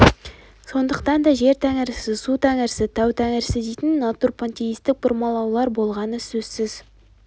сондықтан да жер тәңірісі су тәңірісі тау тәңірісі дейтін натурпантеистік бұрмалаулар болғаны сөзсіз